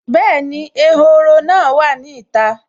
Bẹ́ẹ̀ni, ehoro náà wà ní ìta